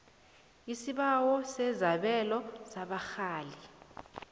isibawo sesabelo sabarhali